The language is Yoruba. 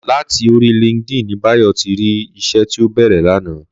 Làti óri lìnkídìn ni Bayo ti ri iṣè ti ó bèrè làná